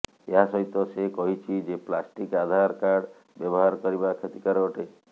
ଏହାସହିତ ସେ କହିଛି ଯେ ପ୍ଲାଷ୍ଟିକ ଆଧାରକାର୍ଡ଼ ବ୍ୟବହାର କରିବା କ୍ଷତିକାରକ ଅଟେ